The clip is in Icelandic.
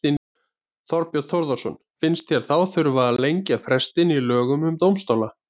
Þorbjörn Þórðarson: Finnst þér þá þurfa að lengja frestinn í lögum um dómstóla?